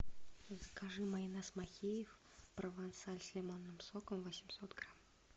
закажи майонез махеев провансаль с лимонным соком восемьсот грамм